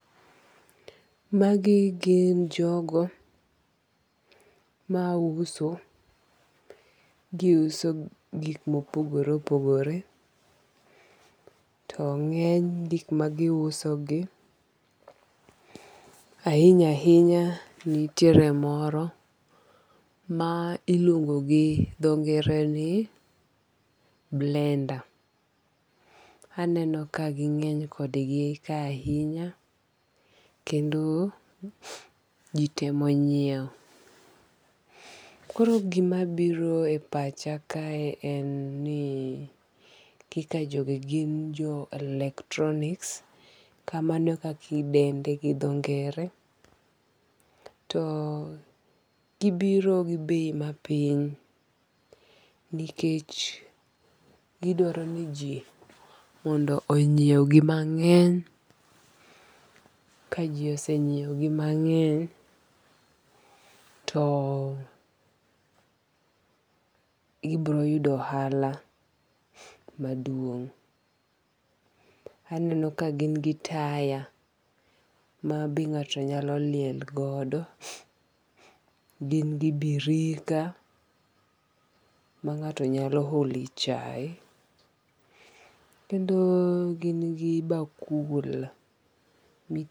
Magi gin jogo ma uso. Giuso gik mopogore opogore. To ng'eny gik magiuso gi ahinya ahinya nitiere moro ma iluongo gi dho ngere ni blender. Aneno ka ging'eny kodgi ka ahinya kendo ji temo nyiew. Koro gima biro e pacha ka en ni kaka jogi gin jo electronics. Kamano e kaka idende gi dho ngere. To gibiro gi bei mapiny nikech gidwaro ni ji mondo onyiew gi mang'eny. Ka ji ose nyiew gi mang'eny to gibiro yudo ohala maduong'. Aneno ka gin gi taya ma be ng'ato nyalo liel godo. Gin gi birika ma ng'ato nyalo ole chae. Kendo gin gi bakul.